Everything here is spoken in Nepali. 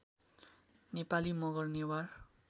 नेपाली मगर नेवार